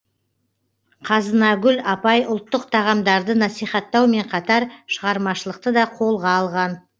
қазынагүл апай ұлттық тағамдарды насихаттаумен қатар шығармашылықты да қолға алған